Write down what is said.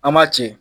An ma ci